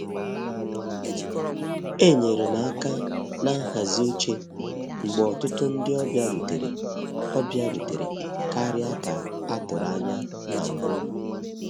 Enyere m aka na nhazi oche mgbe ọtụtụ ndị ọbịa rutere ọbịa rutere karịa ka a tụrụ anya na mbụ